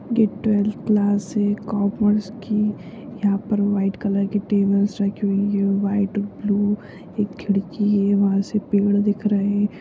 ये twelfth class है commerce की यहां पर व्हाइट कलर्स की टेबल्स रखी हुई है व्हाइट ब्लू एक खिड़की है वहां से पेड़ दिख रहे है।